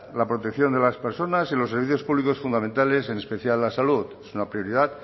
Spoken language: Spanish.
la protección de las personas y los servicios públicos fundamentales en especial la salud es una prioridad